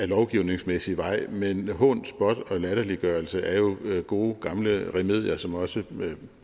lovgivningsmæssig vej men hån spot og latterliggørelse er jo gode gamle remedier som også